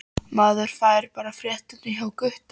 Maður fær bara fréttirnar hjá Gutta!